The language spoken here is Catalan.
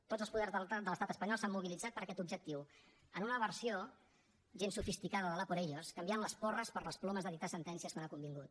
tots els poders de l’estat espanyol s’han mobilitzat per a aquest objectiu en una versió gens sofisticada de l’ a por ellos canviant les porres per les plomes de dictar sentències quan ha convingut